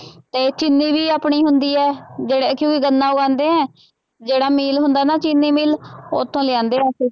ਤੇ ਚੀਨੀ ਵੀ ਆਪਣੀ ਹੁੰਦੀ ਹੈ ਜਿਹੜਾ ਕਿ ਗੰਨਾ ਉਗਾਉਂਦੇ ਹੈ ਜਿਹੜਾ ਮਿਲ ਹੁੰਦਾ ਨਾ ਚੀਨੀ ਮਿਲ ਉੱਥੋਂ ਲਿਆਉਂਦੇ ਅਸੀਂ